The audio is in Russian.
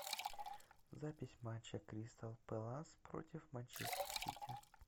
запись матча кристал пэлас против манчестер сити